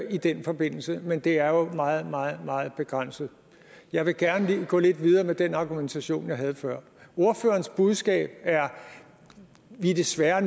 i den forbindelse men det er jo meget meget meget begrænset jeg vil gerne gå lidt videre med den argumentation jeg havde før ordførerens budskab er vi er desværre